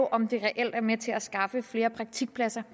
om det reelt er med til at skaffe flere praktikpladser